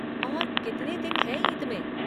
और कितने दिन हैं ईद में?